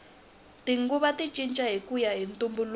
tinguva ti cinca hikuya hi ntumbuluko